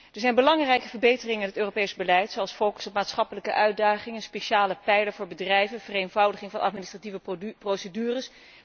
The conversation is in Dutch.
Er zijn belangrijke verbeteringen in het Europees beleid, zoals focus op maatschappelijke uitdagingen, een speciale pijler voor bedrijven en vereenvoudiging van administratieve procedures.